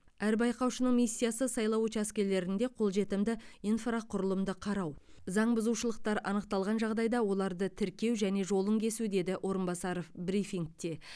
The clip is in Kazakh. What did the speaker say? әр байқаушының миссиясы сайлау учаскелерінде қолжетімді инфрақұрылымды қарау заң бұзушылықтар анықталған жағдайда оларды тіркеу және жолын кесу деді орынбасаров брифингте